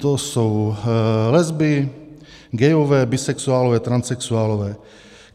To jsou lesby, gayové, bisexuálové, transsexuálové.